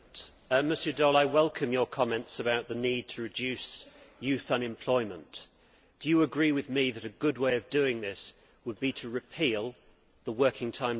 I welcome Mr Daul's comments about the need to reduce youth unemployment. Mr Daul, do you agree with me that a good way of doing this would be to repeal the Working Time Directive?